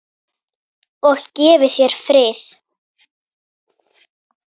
Og gefi þér frið.